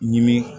Ɲimin